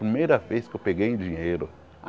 Primeira vez que eu peguei em dinheiro.